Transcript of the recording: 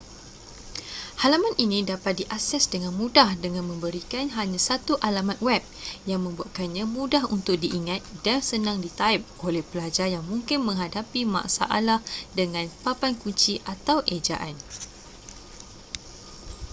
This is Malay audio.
halaman ini dapat diakses dengan mudah dengan memberikan hanya satu alamat web yang membuatkannya mudah untuk diingat dan senang ditaip oleh pelajar yang mungkin menghadapi masalah dengan papan kunci atau ejaan